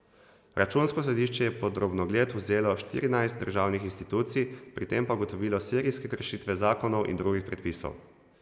Računsko sodišče je pod drobnogled vzelo štirinajst državnih institucij, pri tem pa ugotovilo serijske kršitve zakonov in drugih predpisov.